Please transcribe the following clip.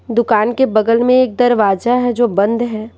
दुकान के बगल में एक दरवाजा हैजो बंद है।